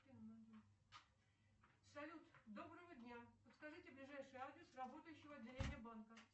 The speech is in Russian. салют доброго дня подскажите ближайший адрес работающего отделения банка